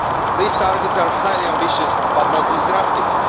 These targets are highly ambitious, but not disruptive.